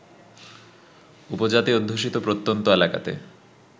উপজাতি অধ্যুষিত প্রত্যন্ত এলাকাতে